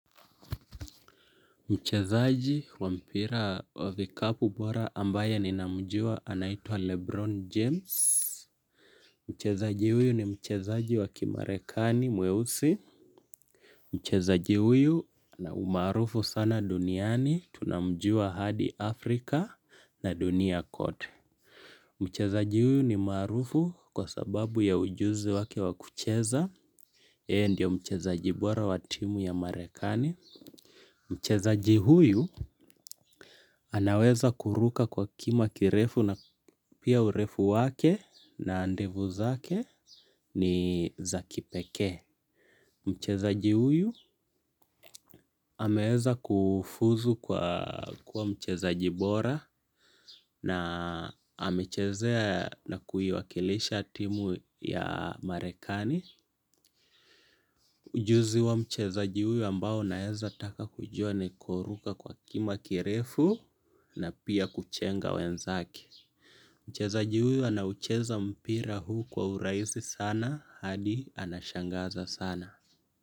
Mchezaji wa mpira wa vikapu bora ambaye ninamjua anaitwa Lebron James. Mchezaji huyu ni mchezaji wa kimarekani mweusi. Mchezaji huyu na umaarufu sana duniani tunamjua hadi Afrika na dunia kote. Mchezaji huyu ni maarufu kwa sababu ya ujuzi wake wa kucheza yeye ndio mchezaji bora wa timu ya Marekani. Mchezaji huyu anaweza kuruka kwa kima kirefu na pia urefu wake na ndevu zake ni za kipekee. Mchezaji huyu ameeza kufuzu kwa kuwa mchezaji bora na amechezea na kuiwakilisha timu ya Marekani. Ujuzi wa mchezaji huyu ambao naeza taka kujua ni kuruka kwa kima kirefu na pia kuchenga wenzake. Mchezaji huyu anaucheza mpira huu kwa urahisi sana hadi anashangaza sana.